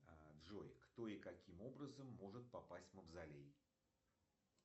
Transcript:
джой кто и каким образом может попасть в мавзолей